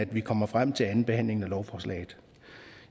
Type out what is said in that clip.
vi kommer frem til andenbehandlingen af lovforslaget